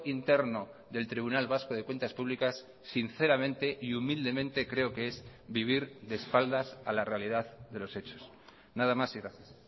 interno del tribunal vasco de cuentas públicas sinceramente y humildemente creo que es vivir de espaldas a la realidad de los hechos nada más y gracias